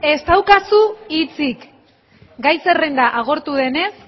ez daukazu hitzik gai zerrenda agortu denez